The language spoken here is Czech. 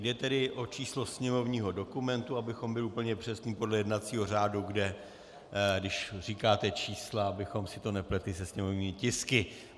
Jde tedy o číslo sněmovního dokumentu, abychom byli úplně přesní podle jednacího řádu, kde když říkáte čísla, abychom si to nepletli se sněmovními tisky.